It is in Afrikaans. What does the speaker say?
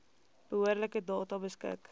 behoorlike data beskik